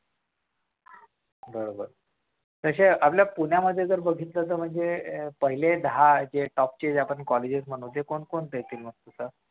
बर तशे आपले पुण्यामध्ये बघितलं तर तसे आपले top चे कॉलेजेस म्हणतो ते कोणकोणते आहेत?